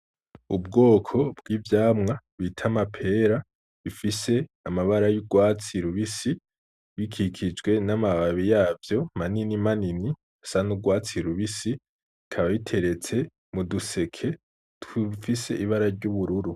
Ubwoko bw'ivyamwa bita amapera bifise amabara y'urwatsi rubisi bikikijwe n'amababi yavyo manini manini asa n'urwatsi rubisi bikaba biteretse mu duseke dufise ibara ry'ubururu.